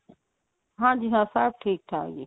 ਹਾਂਜੀ ਹਾਂ ਸਭ ਠੀਕ ਆ ਜੀ